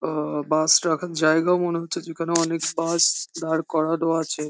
অ bus রাখার জায়গা মনে হচ্ছে যেখানে অনেক বাস দাঁড় করানো আছে।